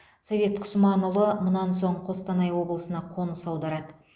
совет құсманұлы мұнан соң қостанай облысына қоныс аударады